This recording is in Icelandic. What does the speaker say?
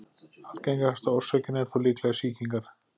Algengasta orsökin er þó líklega sýkingar.